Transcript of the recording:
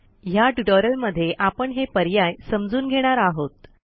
ह्या ट्युटोरियलमध्ये आपण हे पर्याय समजून घेणार आहोत